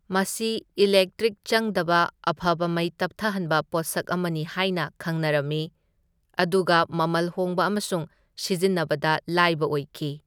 ꯃꯁꯤ ꯏꯂꯦꯛꯇ꯭ꯔꯤꯛ ꯆꯪꯗꯕ ꯑꯐꯕ ꯃꯩ ꯇꯞꯊꯍꯟꯕ ꯄꯣꯠꯁꯛ ꯑꯃꯅꯤ ꯍꯥꯏꯅ ꯈꯪꯅꯔꯝꯏ, ꯑꯗꯨꯒ ꯃꯃꯜ ꯍꯣꯡꯕ ꯑꯃꯁꯨꯡ ꯁꯤꯖꯤꯟꯅꯕꯗ ꯂꯥꯏꯕ ꯑꯣꯏꯈꯤ꯫